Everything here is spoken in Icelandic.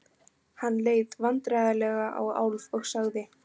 Hann leit vandræðalega á Álf og sagði